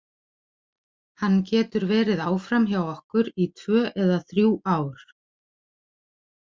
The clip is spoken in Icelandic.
Hann getur verið áfram hjá okkur í tvö eða þrjú ár.